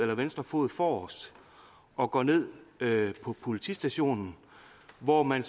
venstre fod forrest og går ned på politistationen hvor man